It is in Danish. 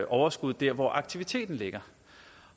overskuddet der hvor aktiviteten ligger